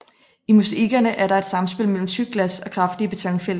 I mosaikkerne er der et samspil mellem tykt glas og kraftige betonfelter